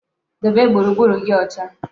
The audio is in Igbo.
Debe gburugburu gi ocha